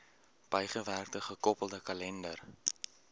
bygewerkte gekoppelde kalender